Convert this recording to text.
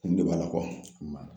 Nin de b'a la kɔ n ba